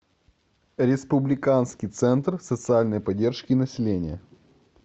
республиканский центр социальной поддержки населения